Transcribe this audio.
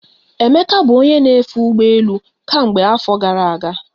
Emeka bụ onye na-efe ụgbọ elu ka mgbe afọ gara aga.